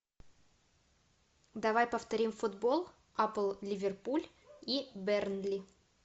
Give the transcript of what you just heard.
давай повторим футбол апл ливерпуль и бернли